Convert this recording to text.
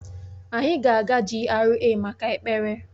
Anyị ga-aga GRA maka ekpere